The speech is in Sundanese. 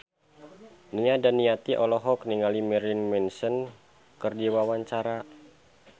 Nia Daniati olohok ningali Marilyn Manson keur diwawancara